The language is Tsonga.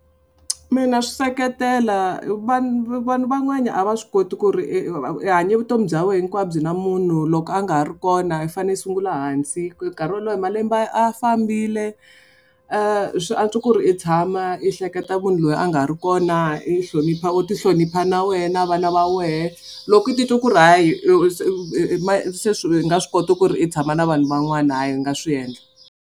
Mina swi seketela vanhu van'wana a va swi koti ku ri i hanye vutomi bya wena hinkwabyo na munhu loko a nga ha ri kona i fanele i sungula hansi, nkarhi walowo malembe a fambile swa antswa ku ri i tshama i hleketa munhu loyi a nga ha ri kona i hlonipha u ti hlonipha na wena vana va wehe loko u titwa ku ri hayi se swilo i nga swi koti ku ri i tshama na vanhu van'wana hayi i nga swi endla.